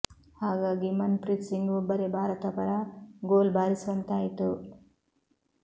ಹಾಗಾಗಿ ಮನ್ ಪ್ರೀತ್ ಸಿಂಗ್ ಒಬ್ಬರೇ ಭಾರತ ಪರ ಗೋಲ್ ಬಾರಿಸುವಂತಾಯ್ತು